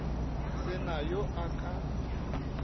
se na yo a ka